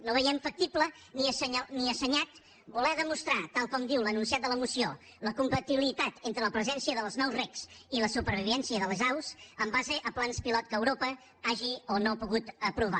no veiem factible ni assenyat voler demostrar tal com diu l’enunciat de la moció la compatibilitat entre la presència dels nous regs i la supervivència de les aus en base a plans pilot que europa hagi o no pogut aprovar